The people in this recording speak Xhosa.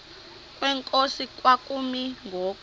kwenkosi kwakumi ngoku